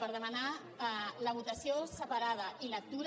per demanar la votació separada i lectura